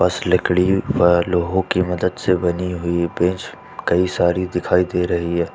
बस लकड़ी पर लोगों की मदद से बनी हुई बेंच कई सारी दिखाई दे रही है।